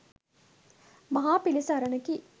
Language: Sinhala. මහා පිළිසරණකි